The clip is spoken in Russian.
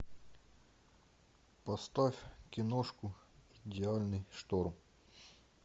поставь киношку идеальный шторм